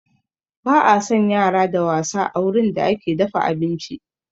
Ba a san yara da wasa a wurin da ake dafa abinci